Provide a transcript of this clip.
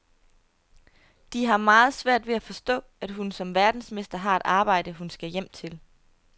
De har meget svært ved at forstå, at hun som verdensmester har et arbejde, hun skal hjem til.